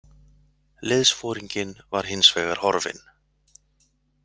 Liðsforinginn var hins vegar horfinn.